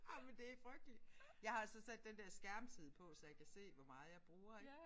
Ej men det frygteligt jeg har altså sat den der skærmtid på så jeg kan se hvor meget jeg bruger ik